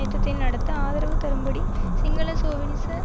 யுத்தத்தை நடாத்த ஆதரவு தரும்படி சிங்கள சோவினிச